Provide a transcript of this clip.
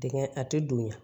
Dingɛ a tɛ donya